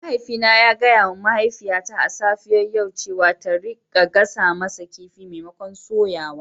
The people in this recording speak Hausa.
Mahaifina yana gaya wa mahaifiyata a safiyar yau cewa ta rika gasa kifi maimakon soya shi.